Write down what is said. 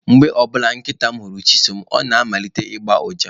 Mgbe ọ bụla nkịta m hụrụ Chisom, ọ na-amalite ịgba uja.